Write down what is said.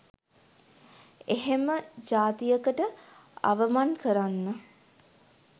එහෙම ජාතියකට අවමන් කරන්න